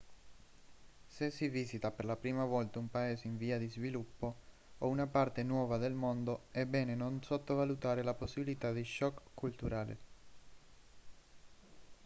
se si visita per la prima volta un paese in via di sviluppo o una parte nuova del mondo è bene non sottovalutare la possibilità di shock culturale